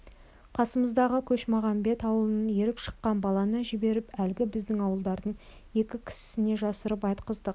қасымыздағы көшмағамбет ауылынан еріп шыққан баланы жіберіп әлгі біздің ауылдардың екі кісісіне жасырып айтқыздық